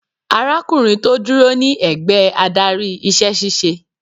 Arákùnrin tó dúró ní ẹ̀gbẹ́ adarí iṣẹ́ ṣíṣe.